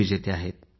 विजेते आहेत